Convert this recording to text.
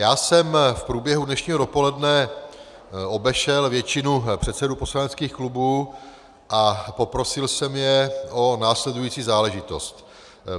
Já jsem v průběhu dnešního dopoledne obešel většinu předsedů poslaneckých klubů a poprosil jsem je o následující záležitost.